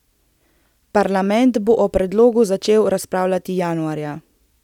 Parlament bo o predlogu začel razpravljati januarja.